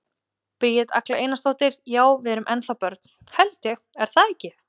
Bríet Agla Einarsdóttir: Já, við erum ennþá börn, held ég, er það ekki?